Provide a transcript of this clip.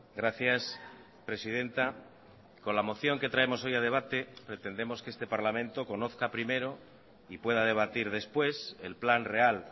gracias presidenta con la moción que traemos hoy a debate pretendemos que este parlamento conozca primero y pueda debatir después el plan real